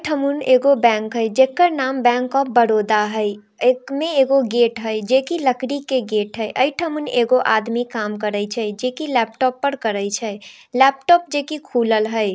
इ ठामूंन एगो बैंक हई जेकर नाम बैंक ऑफ बरोदा हई | ऐक मै एगो गेट हई जेकी लकड़ी के गेट हई | अ ई ठामूंन एगो आदमी काम करइ छइ जेकी लैपटॉप पर करइ छइ | लैपटॉप जैकी खुलल हई ।